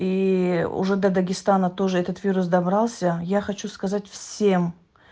ии уже до дагестана тоже этот вирус добрался я хочу сказать всем